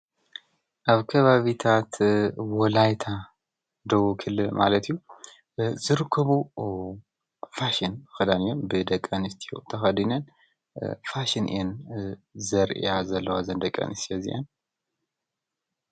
ኣብ ከባቢታት ወላይታ ደዉ ኽል ማለትዩ ዝርከቡ ፋሽን ኽዳንዮም ብደቀንስት ተኸዲነን ፋሽን እን ዘርያ ዘለዋ ዘንደቀንስ የዚየን።